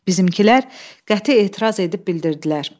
Bizimkilər qəti etiraz edib bildirdilər.